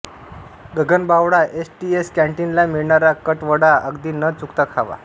Gaganbawada S T कॅन्टीनला मिळणारा कट वडा अगदी न चुकता खावा